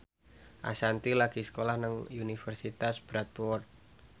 Ashanti lagi sekolah nang Universitas Bradford